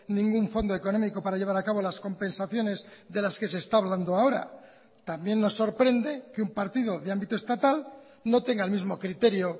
ningún fondo económico para llevar a cabo las compensaciones de las que se está hablando ahora también nos sorprende que un partido de ámbito estatal no tenga el mismo criterio